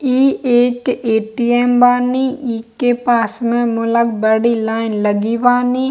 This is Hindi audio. इ एक ए.टी.एम. बानी इके पास में मूलक बड़ी लाइन लगी बानी।